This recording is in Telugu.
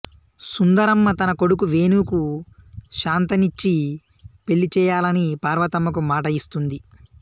సుందరమ్మ తన కొడుకు వేణుకు శాంతనిచ్చి పెళ్ళి చేయాలని పార్వతమ్మకు మాట ఇస్తుంది